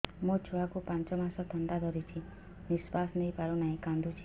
ମୋ ଛୁଆକୁ ପାଞ୍ଚ ମାସ ଥଣ୍ଡା ଧରିଛି ନିଶ୍ୱାସ ନେଇ ପାରୁ ନାହିଁ କାଂଦୁଛି